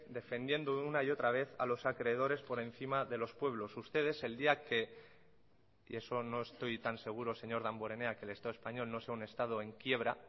defendiendo una y otra vez a los acreedores por encima de los pueblos ustedes el día que y eso no estoy tan seguro señor damborenea que el estado español no sea un estado en quiebra